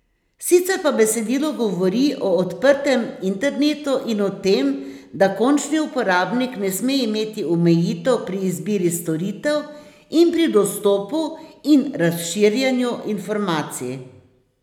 Sicer pa besedilo govori o odprtem internetu in o tem, da končni uporabnik ne sme imeti omejitev pri izbiri storitev in pri dostopu in razširjanju informacij.